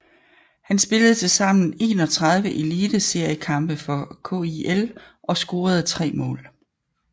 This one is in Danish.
Han spillede til sammen 31 eliteseriekampe for KIL og scorede tre mål